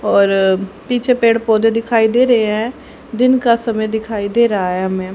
और पीछे पेड़ पौधे दिखाई दे रहे है दिन का समय दिखाई दे रहा है हमे।